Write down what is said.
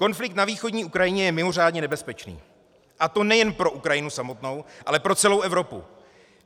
Konflikt na východní Ukrajině je mimořádně nebezpečný, a to nejen pro Ukrajinu samotnou, ale pro celou Evropu.